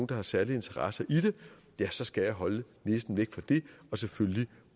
der har særlig interesse i det så skal jeg holde næsen væk fra det og selvfølgelig